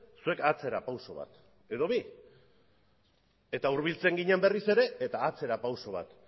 zuek atzera pauso bat edo bi eta hurbiltzen ginen berriz ere eta atzera pauso bat